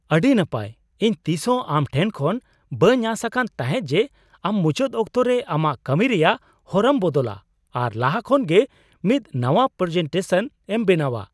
ᱟᱹᱰᱤ ᱱᱟᱯᱟᱭ! ᱤᱧ ᱛᱤᱥᱦᱚᱸ ᱟᱢ ᱴᱷᱮᱱ ᱠᱷᱚᱱ ᱵᱟᱹᱧ ᱟᱸᱥ ᱟᱠᱟᱱ ᱛᱟᱦᱮᱸᱜ ᱡᱮ ᱟᱢ ᱢᱩᱪᱟᱹᱫ ᱚᱠᱛᱚ ᱨᱮ ᱟᱢᱟᱜ ᱠᱟᱹᱢᱤ ᱨᱮᱭᱟᱜ ᱦᱚᱨᱟᱢ ᱵᱚᱫᱚᱞᱟ ᱟᱨ ᱞᱟᱦᱟ ᱠᱷᱚᱱ ᱜᱮ ᱢᱤᱫ ᱱᱟᱶᱟ ᱯᱨᱮᱡᱮᱱᱴᱮᱥᱚᱱ ᱮᱢ ᱵᱮᱱᱟᱣᱟ ᱾